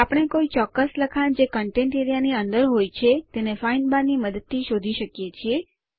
આપણે કોઈ ચોક્કસ લખાણ જે કન્ટેન્ટ એઆરઇએ ની અંદર હોય તેને ફાઇન્ડ બાર ની મદદ સાથે શોધી શકીએ છીએ